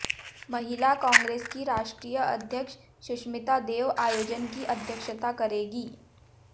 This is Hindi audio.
महिला कांग्रेस की राष्ट्रीय अध्यक्ष सुष्मिता देव आयोजन की अध्यक्षता करेंगी